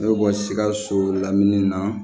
Ne bɛ bɔ sikaso lamini na